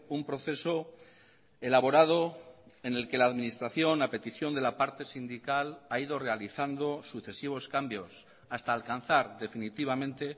un proceso elaborado en el que la administración a petición de la parte sindical ha ido realizando sucesivos cambios hasta alcanzar definitivamente